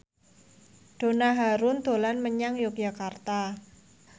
Donna Harun dolan menyang Yogyakarta